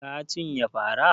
Ka cinye fara?